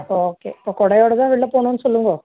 okay இப்போ குடையோட தான் வெளியில போகணும்னு சொல்லுங்கோ